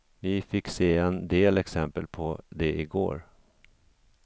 Vi fick se en del exempel på det igår.